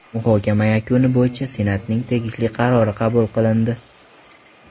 Muhokama yakuni bo‘yicha Senatning tegishli qarori qabul qilindi.